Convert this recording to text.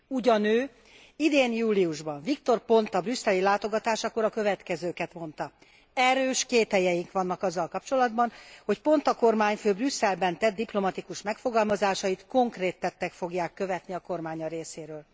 Ugyanő, idén júliusban Victor Ponta brüsszeli látogatásakor a következőket mondta erős kételyeink vannak azzal kapcsolatban, hogy Ponta kormányfő Brüsszelben tett diplomatikus megfogalmazásait konkrét tettek fogják követni a kormánya részéről.